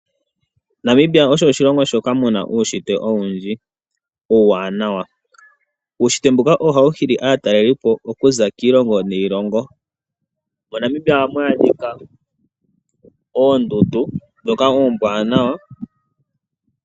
Namibia osho oshilongo shoka muna uunshitwe owundji uuwanawa. Uunshitwe mbuka ohawu hili aatalelipo okuza kiilongo niilongo. MoNamibia ohamu adhika oondundu ndhoka oombwaanawa.